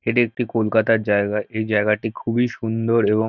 এটি একটি কলকাতার জায়গা। এই জায়গাটি খুবই সুন্দর এবং--